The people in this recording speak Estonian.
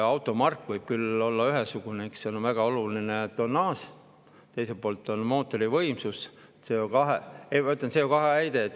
Automark võib küll olla ühesugune, aga seal on väga oluline tonnaaž ja teiselt poolt mootori võimsus, CO2-heide.